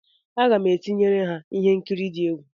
Aga m etinyere ha ihe nkiri di egwu.